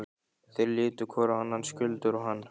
Þeir litu hvor á annan, Skjöldur og hann.